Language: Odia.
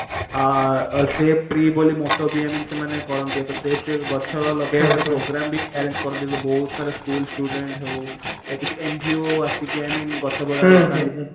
ଆ save tree ବୋଲି moto ବି i mean ସେମାନେ କରନ୍ତି ୟା ତ save tree ଗଛ ଲଗେଇବାର ଗୋଟେ program ବି arrange କରିଦିଏ ତ ବହୁତ ସାରା school student ହଉ ୟା କିଛି NGO ଆସିକି i mean ଗଛ वगेरा ଲଗାନ୍ତି